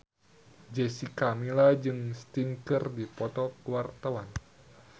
Jessica Milla jeung Sting keur dipoto ku wartawan